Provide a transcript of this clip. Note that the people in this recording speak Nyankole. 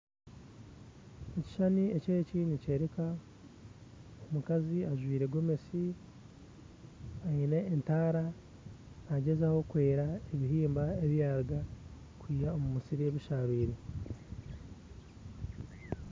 Ekishushani eki eki nikyoreka omukazi ajwire gomesi aine entaara nagyezaho kweera ebihimba ebiyaruga kwiha omumusiri ebisharwire.